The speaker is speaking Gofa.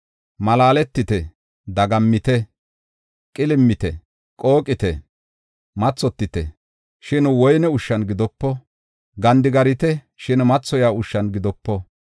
Malaaletite; dagammite; qilim7ite; qooqite. Mathotite, shin woyne ushshan gidopo. Gandigarite, shin mathoyiya ushshan gidopo.